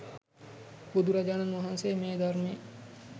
බුදුරජාණන් වහන්සේ මේ ධර්මයේ